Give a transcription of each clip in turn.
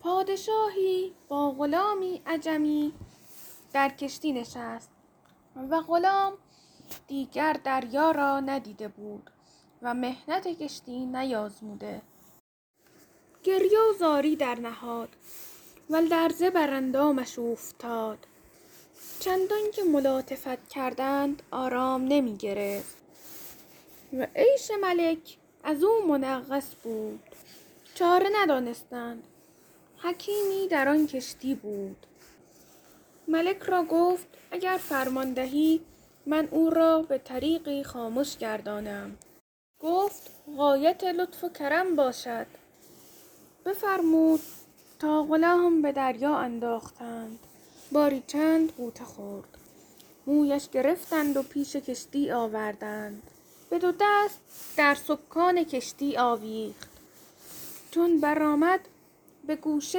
پادشاهی با غلامی عجمی در کشتی نشست و غلام دیگر دریا را ندیده بود و محنت کشتی نیازموده گریه و زاری درنهاد و لرزه بر اندامش اوفتاد چندان که ملاطفت کردند آرام نمی گرفت و عیش ملک از او منغص بود چاره ندانستند حکیمی در آن کشتی بود ملک را گفت اگر فرمان دهی من او را به طریقی خامش گردانم گفت غایت لطف و کرم باشد بفرمود تا غلام به دریا انداختند باری چند غوطه خورد مویش گرفتند و پیش کشتی آوردند به دو دست در سکان کشتی آویخت چون برآمد به گوشه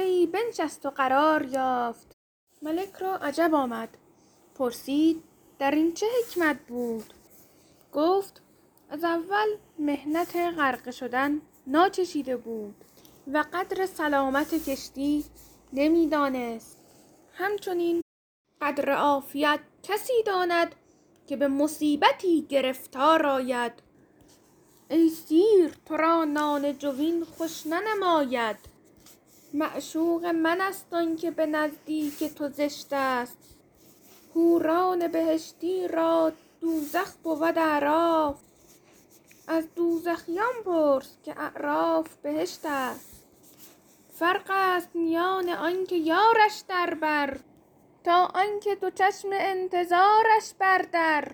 ای بنشست و قرار یافت ملک را عجب آمد پرسید در این چه حکمت بود گفت از اول محنت غرقه شدن ناچشیده بود و قدر سلامت کشتی نمی دانست همچنین قدر عافیت کسی داند که به مصیبتی گرفتار آید ای سیر تو را نان جوین خوش ننماید معشوق من است آن که به نزدیک تو زشت است حوران بهشتی را دوزخ بود اعراف از دوزخیان پرس که اعراف بهشت است فرق است میان آن که یارش در بر تا آن که دو چشم انتظارش بر در